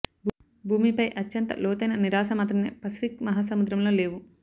భూమిపై అత్యంత లోతైన నిరాశ మాత్రమే పసిఫిక్ మహాసముద్రం లో లేవు